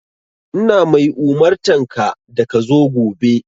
Ina mai umurtanka da ka zo gobe!